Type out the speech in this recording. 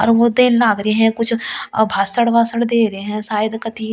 लग रहे हैं कुछ भाषण वाषण दे रहे हैं शायद कभी ।